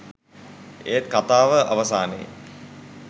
ඒත් කථාව අවසානයේ